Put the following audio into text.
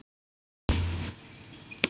Minning um góða kona lifir.